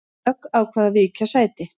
Dögg ákvað að víkja sæti